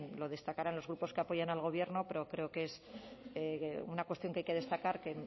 lo destacarán los grupos que apoyan al gobierno pero creo que es una cuestión que hay que destacar que